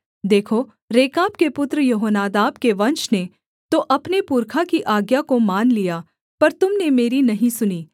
देखो रेकाब के पुत्र यहोनादाब के वंश ने तो अपने पुरखा की आज्ञा को मान लिया पर तुम ने मेरी नहीं सुनी